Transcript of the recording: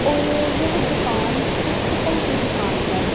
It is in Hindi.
और यह दुकान पुस्तकों की दुकान है।